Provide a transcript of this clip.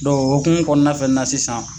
okumun kɔnɔna fɛnɛ na sisan.